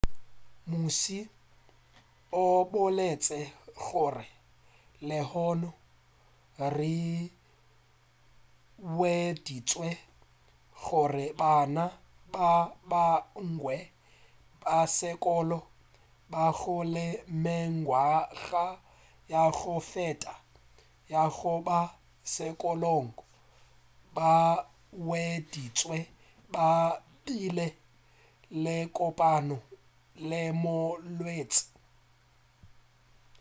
mmuši o boletše gore lehono re hweditše gore bana ba bangwe ba sekolo ba go le mengwaga ya go feta ya go ba sekolong ba hweditšwe ba bile le kopano le molwetši